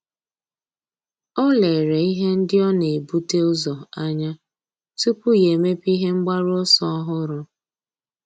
Ọ́ lérè ihe ndị ọ́ nà-ebute ụzọ anya tupu yá èmépé ihe mgbaru ọsọ ọ́hụ́rụ́.